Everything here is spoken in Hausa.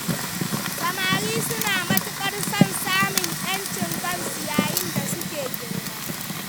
Samari suna matuƙar son samun ’yancin kansu yayin da suke girma.